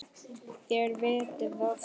Þér vitið það.